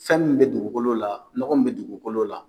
Fɛn min bɛ dugukolo la nɔgɔ min bɛ dugukolo la